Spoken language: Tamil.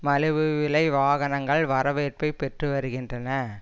மலிவு விலை வாகனங்கள் வரவேற்பை பெற்று வருகின்றன